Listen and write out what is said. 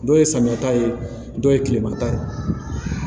Dɔw ye samiya ta ye dɔw ye kilema ta ye